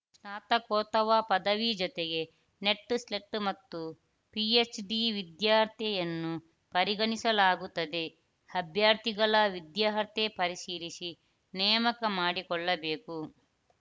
ಸ್ನಾತಕೋತ್ತವ ಪದವಿ ಜತೆಗೆ NET SLET ಮತ್ತು ಪಿಎಚ್‌ಡಿ ವಿದ್ಯಾರ್ಹತೆಯನ್ನು ಪರಿಗಣಿಸಲಾಗುತ್ತದೆ ಅಭ್ಯರ್ಥಿಗಳ ವಿದ್ಯಾರ್ಹತೆ ಪರಿಶೀಲಿಸಿ ನೇಮಕ ಮಾಡಿಕೊಳ್ಳಬೇಕು